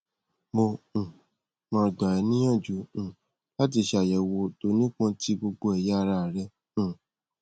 mo um ma gba e niyanju um lati se ayewo to nipon ti gbogbo eya ara re um